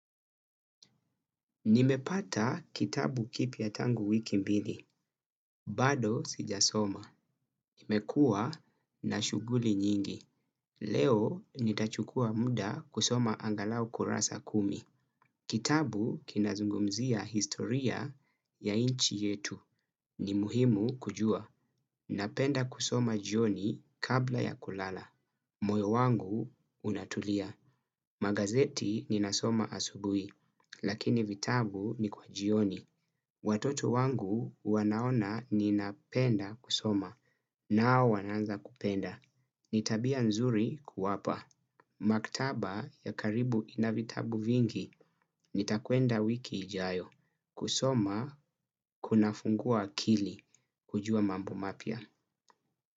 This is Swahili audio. Nimepata kitabu kipya tangu wiki mbili. Bado sijasoma. Imekua na shughuli nyingi. Leo nitachukua muda kusoma angalau kurasa kumi. Kitabu kinazungumzia historia ya inchi yetu. Ni muhimu kujua. Napenda kusoma jioni kabla ya kulala. Moyo wangu unatulia. Magazeti ninasoma asubui. Lakini vitabu ni kwa jioni. Watoto wangu wanaona ninapenda kusoma nao wanaanza kupenda. Ni tabia nzuri kuwapa. Maktaba ya karibu ina vitabu vingi nitakwenda wiki ijayo. Kusoma kunafungua akili. Kujua mambo mapya.